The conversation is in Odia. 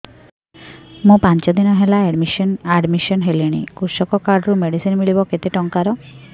ମୁ ପାଞ୍ଚ ଦିନ ହେଲାଣି ଆଡ୍ମିଶନ ହେଲିଣି କୃଷକ କାର୍ଡ ରୁ ମେଡିସିନ ମିଳିବ କେତେ ଟଙ୍କାର